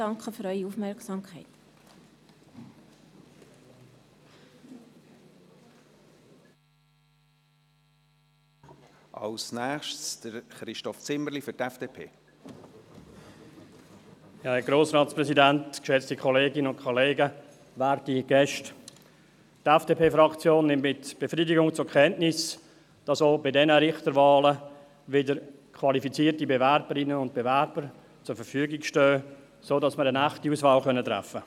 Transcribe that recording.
Die FDP-Fraktion nimmt mit Befriedigung zur Kenntnis, dass auch bei diesen Richterwahlen wieder qualifizierte Bewerberinnen und Bewerber zur Verfügung stehen, sodass wir eine echte Auswahl treffen können.